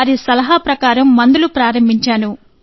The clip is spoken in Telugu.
వారి సలహా ప్రకారం మందులు ప్రారంభించాను